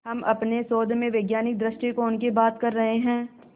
हम अपने शोध में वैज्ञानिक दृष्टिकोण की बात कर रहे हैं